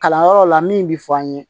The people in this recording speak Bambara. Kalanyɔrɔ la min bi fɔ an ye